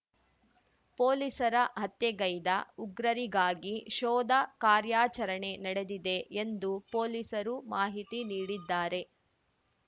ಪೊಲೀಸರ ಹತ್ಯೆಗೈದ ಉಗ್ರರಿಗಾಗಿ ಶೋಧ ಕಾರ್ಯಾಚರಣೆ ನಡೆದಿದೆ ಎಂದು ಪೊಲೀಸರು ಮಾಹಿತಿ ನೀಡಿದ್ದಾರೆ